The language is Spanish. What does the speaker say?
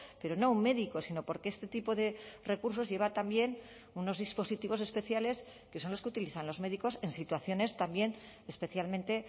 pero no un médico sino porque este tipo de recursos lleva también unos dispositivos especiales que son los que utilizan los médicos en situaciones también especialmente